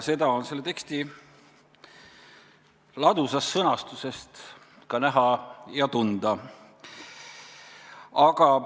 Seda on selle teksti ladusast sõnastusest ka näha ja tunda.